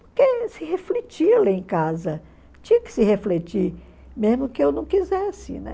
Porque se refletia lá em casa, tinha que se refletir, mesmo que eu não quisesse.